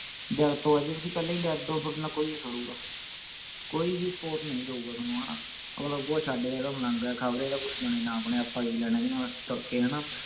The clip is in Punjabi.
ਦਿਲ ਤੋਂ ਹੈ ਜੇ ਤੁਸੀਂ ਪਹਿਲਾਂ ਹੀ dead ਹੋ ਤੁਹਾਡੇ ਨਾਲ ਕੋਈ ਨਹੀਂ ਖੜੂਗਾ ਕੋਈ ਵੀ support ਨਹੀਂ ਕਰੂਗਾ ਥੋਨੂੰ ਹਣਾ ਅਗਲਾ ਕਹੂਗਾ ਛੱਡ ਯਾਰ ਇਹ ਤਾਂ ਮਲੰਗ ਹੈ ਖ਼ਬਰੇ ਇਹਦਾ ਕੁਸ਼ ਬਣੇ ਨਾ ਬਣੇ ਆਪਾਂ ਕਿ ਲੈਣਾ ਇਹਦੇ ਨਾਲ ਤੁਰਕੇ ਹਣਾ